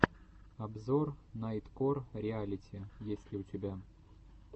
обзор найткор реалити есть ли у тебя